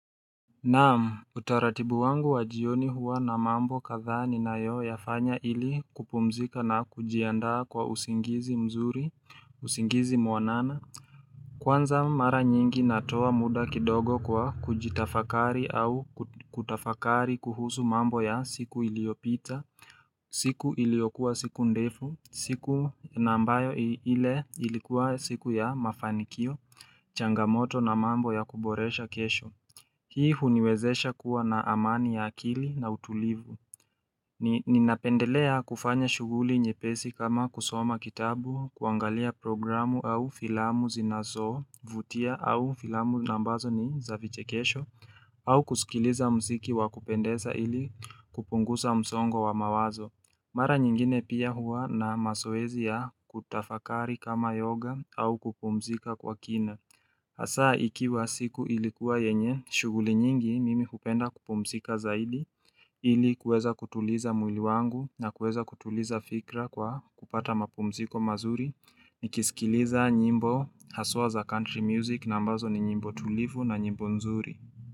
Naam utaratibu wangu wa jioni huwa na mambo kadhaa ni na yo yafanya ili kupumzika na kujiandaa kwa usingizi mzuri, usingizi mwanana Kwanza mara nyingi natoa muda kidogo kwa kujitafakari au kutafakari kuhusu mambo ya siku iliopita siku iliyokuwa siku ndefu, siku nambayo i ile ilikuwa siku ya mafanikio changamoto na mambo ya kuboresha kesho Hii huniwezesha kuwa na amani ya akili na utulivu Ninapendelea kufanya shughuli nyepesi kama kusoma kitabu, kuangalia programu au filamu zinazovutia au filamu nambazo ni za vichekesho au kusikiliza msiki wakupendesa ili kupungusa msongo wa mawazo Mara nyingine pia huwa na masoezi ya kutafakari kama yoga au kupumzika kwa kina Hasaa ikiwa siku ilikuwa yenye, shughuli nyingi mimi hupenda kupumzika zaidi, ili kuweza kutuliza mwili wangu na kuweza kutuliza fikra kwa kupata mapumziko mazuri, nikisikiliza nyimbo haswa za country music na ambazo ni nyimbo tulivu na nyimbo nzuri.